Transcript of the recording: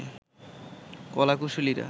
কলা কুশলীরা